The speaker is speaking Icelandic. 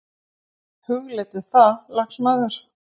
Hugleiddu það, lagsmaður!